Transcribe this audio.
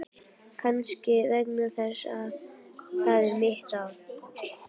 Kannski vegna þess að það er mitt ár.